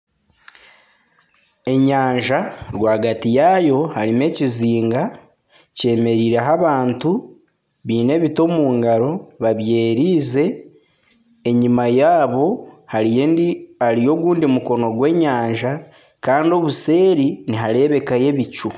Enyanja rwagati yaayo harimu ekizinga kyemereireho abantu baine ebiti omu ngaro babyererize enyima yaabo hariyo ogundi mukono gw'enyanja kandi obuseeri niharebekayo ebicu.